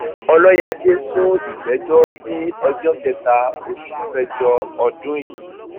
ọlọyáde sún ìgbẹjọ sí ọjọ kẹta oṣù kẹjọ ọdún yìí